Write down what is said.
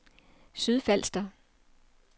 Sydfalster